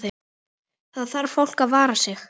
Þarf fólk að vara sig?